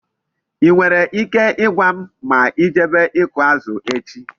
I nwere ike I gwam ma I jebe iku azu echi?